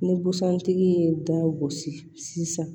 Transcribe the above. Ni busan tigi ye da gosi sisan